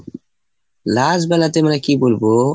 last বেলাতে মানে কি বলবো?